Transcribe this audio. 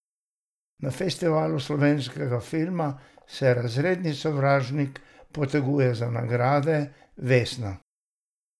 Na Festivalu slovenskega filma se Razredni sovražnik poteguje za nagrade vesna.